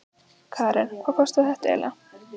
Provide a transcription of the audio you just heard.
Karen: Og hvað kostaði þetta eiginlega?